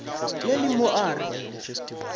le le mo a re